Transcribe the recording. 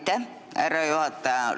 Aitäh, härra juhataja!